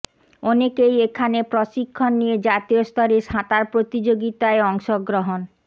অনেকেই এখানে প্রশিক্ষণ নিয়ে জাতীয় স্তরে সাঁতার প্রতিযোগিতায় অংশগ্রহণ